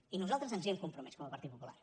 i nosaltres ens hi hem compromès com a partit popular